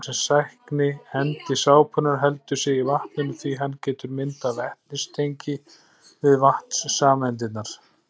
Vatnssækni endi sápunnar heldur sig í vatninu því hann getur myndað vetnistengi við vatnssameindirnar.